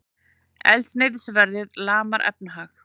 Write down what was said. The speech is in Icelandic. Eldsneytisverðið lamar efnahag